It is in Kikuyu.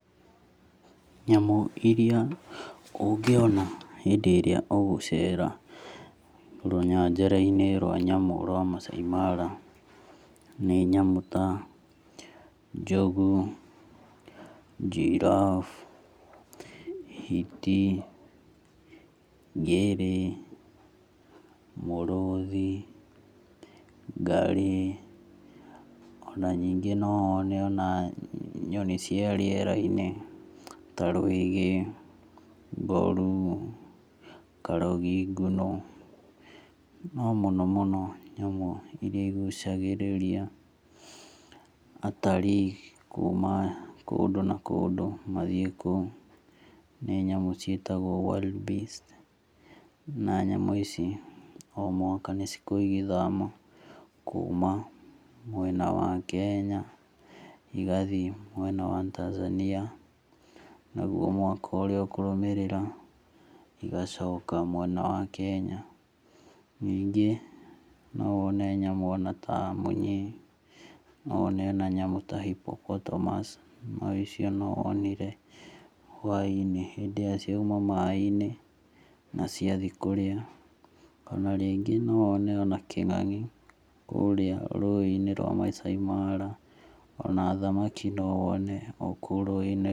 Nyamũ irĩa ũngĩona hĩndĩ ĩrĩa ũgũcera rũnyanjara-inĩ rwa nyamũ rwa Maasai Mara, nĩ nyamũ ta njogũ, giraffe, hiti ngĩrĩ, mũrũthi, ngarĩ, o ningĩ no wone ona nyoni cia rĩerainĩ ta rũĩgĩ, mborũ, karogi ngũnũ, no mũnomũno nyamũ irĩa igũcagĩrĩria atarii nĩ nyamũ ciĩtagwo wild beast na nyamũ ici o mwaka nĩikoragwo igĩthama kĩma mwena wa Kenya igathiĩ mwena wa Tanzania, nagũo mwaka ũrĩa ũkũrũmĩrĩra igacoka mwena wa kenya . Ningĩ nowone nyamĩ o na ta mĩnyi, nowone ona nyamũ ya hippopotemous, na icio nowonire hwainĩ, hĩndĩ ĩrĩa ciauma maĩ-inĩ na ciathi kũrĩa. Ona rĩngĩ nowone ona kĩng'angi kũrĩa rũi-inĩ rwa Maasai Mara. Ona thamaki nowone okũũ rũĩ-inĩ.